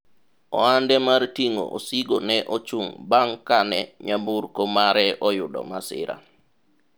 ohande mar ting'o osigo ne ochung' bang' kane nyamburko mare oyudo masira